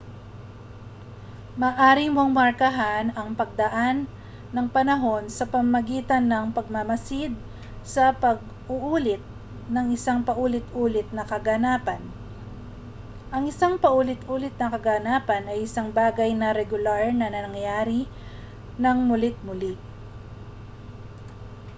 maaari mong markahan ang pagdaan ng panahon sa pamamagitan ng pagmamasid sa pag-uulit ng isang paulit-ulit na kaganapan ang isang paulit-ulit na kaganapan ay isang bagay na regular na nangyayari nang muli't-muli